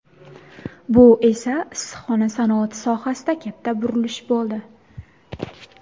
Bu esa, issiqxona sanoati sohasida katta burilish bo‘ldi.